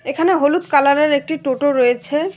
এখানে হলুদ কালারের একটি টোটো রয়েছে।